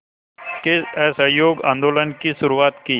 के असहयोग आंदोलन की शुरुआत की